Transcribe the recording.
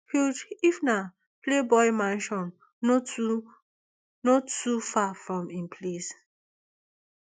hugh hefner playboy mansion no too no too far from im place